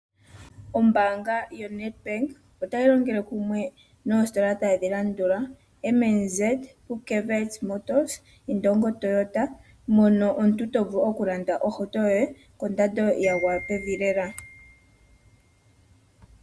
Ombaanga yoNedbank otayi longele kumwe noositola tadhi landula, M &Z, pupkewitz motors noIndongo Toyota mono omuntu to vulu okulanda ohauto yoye kondando yi li pevi lela.